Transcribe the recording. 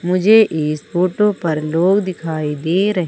मुझे इस फोटो पर लोग दिखाई दे रहे--